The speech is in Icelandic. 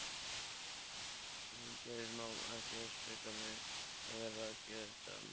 Geðið má ekki svíkja mig, ég verð að gæta mín.